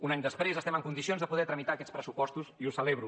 un any després estem en condicions de poder tramitar aquests pressupostos i ho celebro